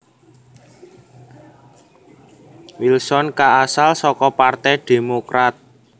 Wilson kaasal saka partai Demokrat